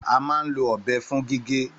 Àmá ń lo ọbẹ fún gígè.